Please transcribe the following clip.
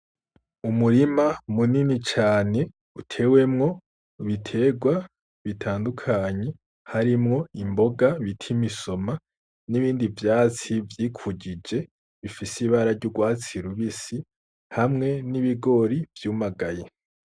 Umurima munini cane utewemwo imiterwa bitandukanye harimwo imboga bita imisoma n'ibindi vyatsi vyikujije bifise ibara ry'urwatsi rubisi. Hamwe n'ibigori vyumagaye.